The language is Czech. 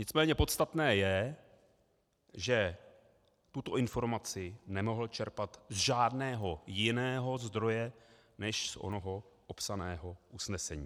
Nicméně podstatné je, že tuto informaci nemohl čerpat z žádného jiného zdroje než z onoho opsaného usnesení.